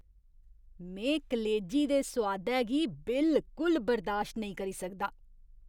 में कलेजी दे सोआदै गी बिलकुल बर्दाश्त नेईं करी सकदा।